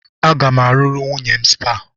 Aga m arụrụ nwunye m spa.